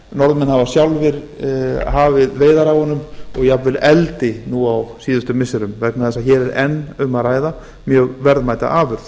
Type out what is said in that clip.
norðmenn hafa sjálfir hafið veiðar á honum og jafnvel eldi nú á síðustu missirum vegna þess að hér er enn um að ræða mjög verðmæta afurð